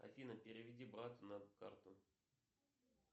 афина переведи брату на карту